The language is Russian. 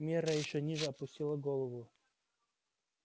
мирра ещё ниже опустила голову